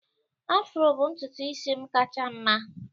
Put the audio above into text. Afro bụ ntutu isi m kacha mma